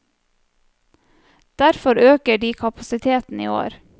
Derfor øker de kapasiteten i år.